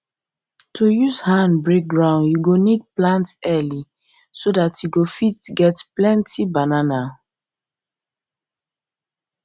to use hand break ground you go need plant early so that you go fit get plenty banana